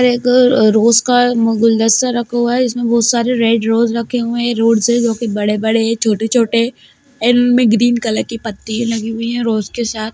एगो रोज का गुलदस्ता रखा हुआ है इसमें बहुत सारे रेड रोज रखे हुए हैं रोजर्स हैं जो कि बड़े-बड़े हैं छोटे-छोटे एंड इनमें ग्रीन कलर की पत्तियां लगी हुई है रोज के साथ।